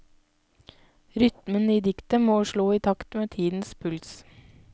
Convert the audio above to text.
Rytmen i diktet må slå i takt med tidens puls.